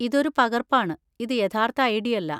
ഇതൊരു പകർപ്പാണ്, ഇത് യഥാർത്ഥ ഐ.ഡി. അല്ല.